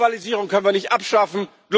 Globalisierung können wir nicht abschaffen.